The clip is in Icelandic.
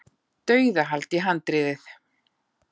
Dauðahald í handriðið.